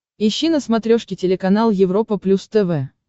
ищи на смотрешке телеканал европа плюс тв